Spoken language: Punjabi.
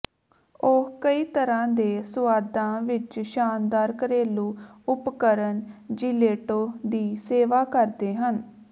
ਉਹ ਕਈ ਤਰ੍ਹਾਂ ਦੇ ਸੁਆਦਾਂ ਵਿਚ ਸ਼ਾਨਦਾਰ ਘਰੇਲੂ ਉਪਕਰਣ ਜੀਲੈਟੋ ਦੀ ਸੇਵਾ ਕਰਦੇ ਹਨ